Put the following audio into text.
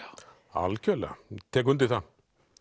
algjörlega tek undir það